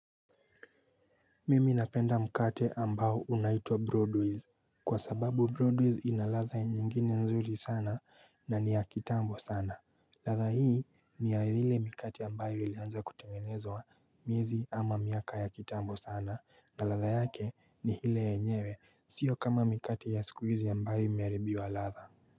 Mimi napenda mkate ambao unaitwa Broadways kwa sababu Broadways ina ladha nyingine nzuri sana na ni ya kitambo sana. Ladha hii ni ya ile mikate ambayo ilianza kutengenezwa miezi ama miaka ya kitambo sana na ladha yake ni ile yenyewe, sio kama mikate ya siku hizi ambayo imeharibiwa ladha.